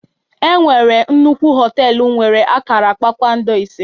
E nwere nnukwu họtelu nwere akara kpakpando ise